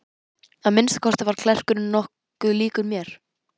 Að minnsta kosti var klerkurinn nokkuð líkur mér.